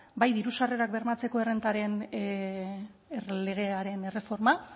bai dirusarrerak bermatzeko errentaren legearen erreforma